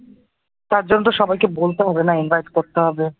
তার জন্য তো সবাইকে বলতে হবে না invite করতে হবে ।